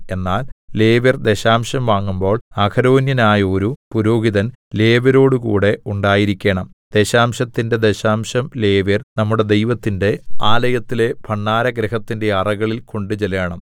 എന്നാൽ ലേവ്യർ ദശാംശം വാങ്ങുമ്പോൾ അഹരോന്യനായോരു പുരോഹിതൻ ലേവ്യരോടുകൂടെ ഉണ്ടായിരിക്കേണം ദശാംശത്തിന്റെ ദശാംശം ലേവ്യർ നമ്മുടെ ദൈവത്തിന്റെ ആലയത്തിലെ ഭണ്ഡാരഗൃഹത്തിന്റെ അറകളിൽ കൊണ്ടുചെല്ലേണം